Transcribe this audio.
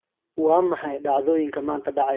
Waa maxay dhacdooyinka maanta dhacaya?